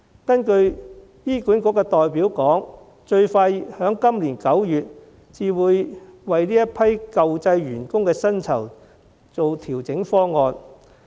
根據醫管局代表的說法，最快在今年9月才會提出這批舊制員工的薪酬調整方案。